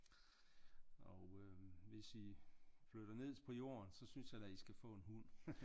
Og øh hvis i flytter ned på jorden så synes jeg da i skal få en hund